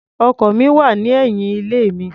Ọkọ̀ mi wà ní ẹ̀yìn ilé mi.